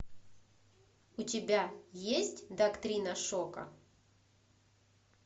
у тебя есть доктрина шока